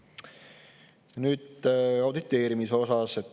Nüüd auditeerimisest.